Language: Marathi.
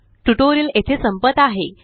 ट्यूटोरियल येथे संपत आहे